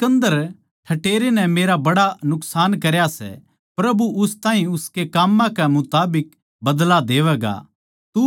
सिकन्दर ठठेरे नै मेरा बड़ा नुकसान करया सै प्रभु उस ताहीं उसकै काम्मां कै मुताबिक बदला देवैगा